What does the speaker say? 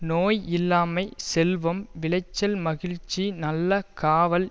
நோய் இல்லாமை செல்வம் விளைச்சல் மகிழ்ச்சி நல்ல காவல்